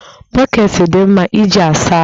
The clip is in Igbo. Bọkeeti dị mma iji asa ahụ